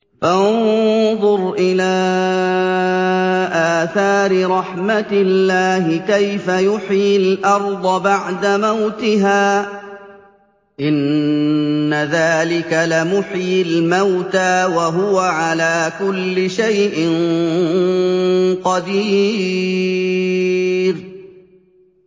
فَانظُرْ إِلَىٰ آثَارِ رَحْمَتِ اللَّهِ كَيْفَ يُحْيِي الْأَرْضَ بَعْدَ مَوْتِهَا ۚ إِنَّ ذَٰلِكَ لَمُحْيِي الْمَوْتَىٰ ۖ وَهُوَ عَلَىٰ كُلِّ شَيْءٍ قَدِيرٌ